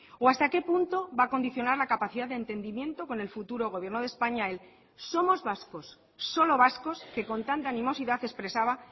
o hasta qué punto va a condicionar la capacidad de entendimiento con el futuro gobierno de españa el somos vascos solo vascos que con tanta animosidad expresaba